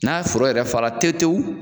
N'a foro yɛrɛ fara te tewu